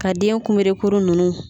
Ka den kunbere kuru ninnu